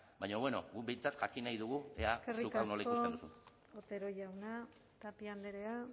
baina bueno guk behintzat jakin nahi dugu ea zuk nola ikusten duzun eskerrik asko otero jauna tapia andrea